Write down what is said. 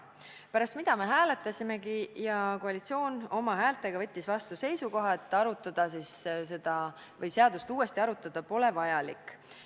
Pärast seda me hääletasimegi ja koalitsiooni häältega võttis komisjon vastu seisukoha, et seadust uuesti arutada pole vajalik.